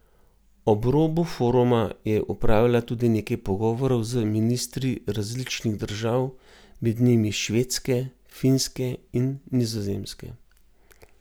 Ob robu foruma je opravila tudi nekaj pogovorov z ministri različnih držav, med njimi Švedske, Finske in Nizozemske.